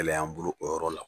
Kɛlɛya y'an bolo o yɔrɔ la.